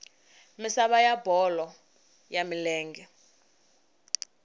misava ya bolo ya milenge